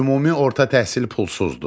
Ümumi orta təhsil pulsuzdur.